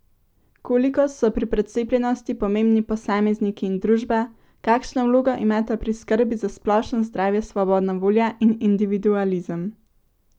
Koliko so pri precepljenosti pomembni posamezniki in družba, kakšno vlogo imata pri skrbi za splošno zdravje svobodna volja in individualizem?